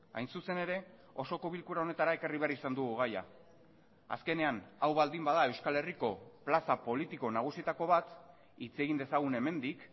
hain zuzen ere osoko bilkura honetara ekarri behar izan dugu gaia azkenean hau baldin bada euskal herriko plaza politiko nagusietako bat hitz egin dezagun hemendik